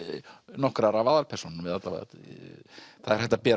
nokkrar af aðalpersónunum eða alla vega það er hægt að bera